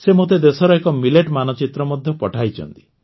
ସେ ମୋତେ ଦେଶର ଏକ ମିଲେଟ୍ ମାନଚିତ୍ର ମଧ୍ୟ ପଠାଇଛନ୍ତି